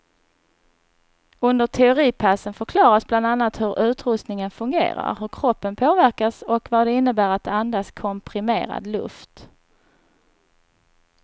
Under teoripassen förklaras bland annat hur utrustningen fungerar, hur kroppen påverkas och vad det innebär att andas komprimerad luft.